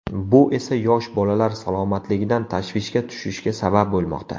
Bu esa yosh bolalar salomatligidan tashvishga tushishga sabab bo‘lmoqda.